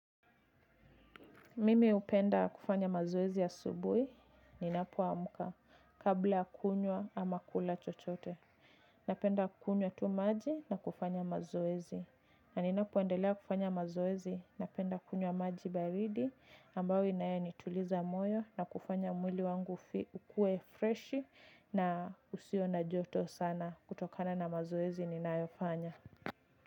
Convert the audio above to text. Mimi upenda kufanya mazoezi asubui, ninapoamka, kabla ya kunywa ama kula chochote. Napenda kunywa tu maji na kufanya mazoezi. Na ninapoendelea kufanya mazoezi, napenda kunywa maji baridi, ambao inayenituliza moyo na kufanya mwili wangu ukue freshi na usio na joto sana kutokana na mazoezi ninayofanya.